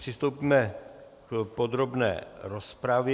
Přistoupíme k podrobné rozpravě.